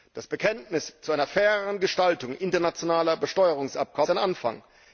Das Bekenntnis zu einer faireren Gestaltung internationaler Besteuerungsabkommen ist ein Anfang.